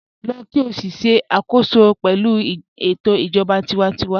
Lọ́ kí o sì ṣẹ̀ àkòsọ pẹ̀lú ètò ijọba tìwántíwà